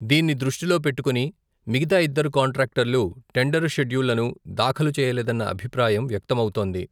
దీన్ని దృష్టిలో పెట్టుకొని, మిగతా ఇద్దరు కాంట్రాక్టర్లు, టెండర్ షెడ్యూళ్లను దాఖలు చేయలేదన్న అభిప్రాయం వ్యక్తమౌతోంది.